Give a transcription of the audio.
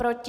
Proti?